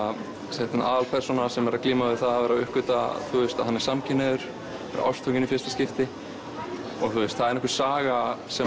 sett inn aðalpersóna sem er að glíma við það að vera að uppgötva að hann er samkynhneigður ástfanginn í fyrsta skipti það er einhver saga sem